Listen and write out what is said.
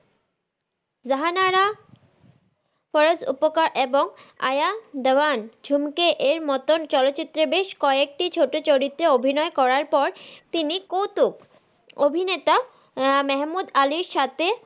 রাহানারা ফারাত উপকার এবং আয়া দেবান ঝুমকে এর মতো চলচিত্রে বেশ কয়েকটি ছোট চরিত্রে অভিনয় করার পর তিনি কৌতুক অভিনেতা মেহমুদ আলির সাথে,